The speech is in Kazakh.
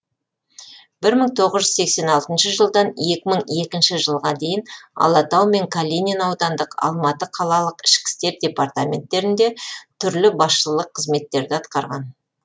бір мың тоғыз жүз сексен алтыншы жылдан екі мың екінші жылға дейін алатау және калинин аудандық алматы қалалық ішкі істер департаменттерінде түрлі басшылық қызметтерді атқарған